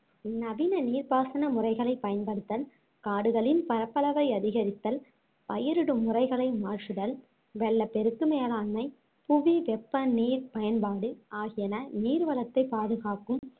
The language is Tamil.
நவீன நீர் பாசன முறைகளைப் பயன்படுத்தல், காடுகளின் பரப்பளவை அதிகரித்தல், பயிரிடும் முறைகளை மாற்றுதல், வெள்ளப்பெருக்கு மேலாண்மை, புவி வெப்ப நீர் பயன்பாடு ஆகியன நீர்வளத்தை பாதுகாக்கும்